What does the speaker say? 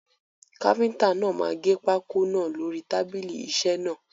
Káfíntà náà máa gẹ pákó náà lórí tábìlì isẹ́ náà.